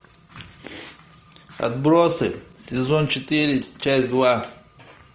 отбросы сезон четыре часть два